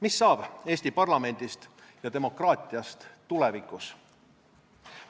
Mis saab Eesti parlamendist ja demokraatiast tulevikus?